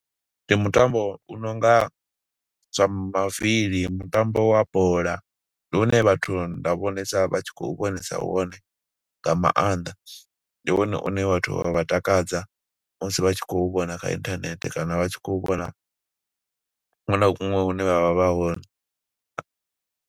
ndi mutambo u no nga zwa mavili, mutambo wa bola. Ndi une vhathu nda vhonesa vha tshi khou vhonesa wone nga maanḓa. Ndi wone une vhathu wa vha takadza musi vha tshi khou vhona kha inthanethe, kana vha tshi khou vhona huṅwe na huṅwe hune vha vha vha hone.